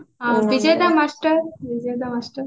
Bijay master